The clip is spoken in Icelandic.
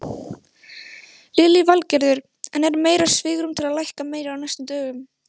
Lillý Valgerður: En er meira svigrúm til lækka meira á næstu dögum?